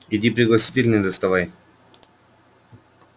иди пригласительные доставай